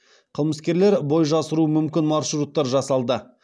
қылмыскерлер бой жасыруы мүмкін маршруттар жасалды